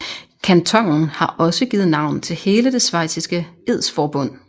Kantonen har også givet navn til hele det schweiziske edsforbund